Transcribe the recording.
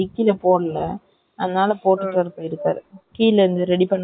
on duty .இருக்காங்களா சொன்னாதான்னா வேல சேர அவங்க தந்தைதான போக முடியும்.